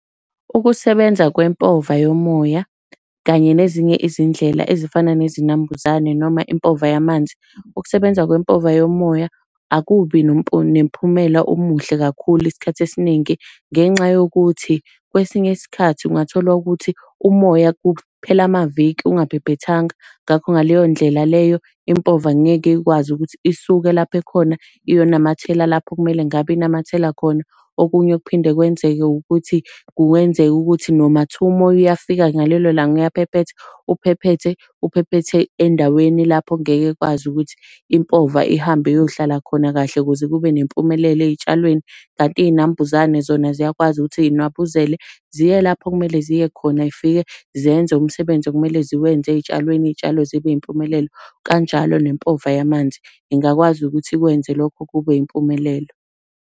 Ukusebenza kwempova yomoya kanye nezinye izindlela ezifana nezinambuzane noma impova yamanzi. Ukusebenza kwempova yomoya akubi nomphumela omuhle kakhulu isikhathi esiningi, ngenxa yokuthi kwesinye isikhathi ungathola ukuthi umoya kuphela amaviki ungabhebhethanga, ngakho ngaleyo ndlela leyo impova angeke ikwazi ukuthi isuke lapha ekhona iyonamathele lapho okumele ngabe inamathela khona. Okunye kuphinde kwenzeke ukuthi kuwenzeka ukuthi noma thiwa umoya uyafika ngalelo langa uyaphephetha, Uphephethe, uphephethe endaweni lapho kungeke kukwazi ukuthi impova ihambe iyohlala khona kahle ukuze kube nempumelelo ey'tshwalweni. Kanti iy'nambuzane zona ziyakwazi ukuthi zinwabuzele, ziye lapho okumele ziye khona zifike zenze umsebenzi okumele ziwenze ey'tshwaleni, iy'tshalo zibe impumelelo. Kanjalo nempova yamanzi ingakwazi ukuthi ikwenze lokho kube yimpumelelo.